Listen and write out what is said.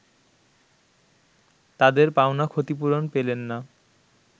তাদের পাওনা ক্ষতিপূরণ পেলেন না